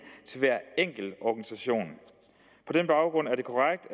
til hver enkelt organisation på den baggrund er det korrekt